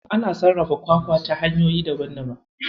Ana sarrafa kwakwa ta hanyoyi daban daban.